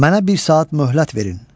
Mənə bir saat möhlət verin.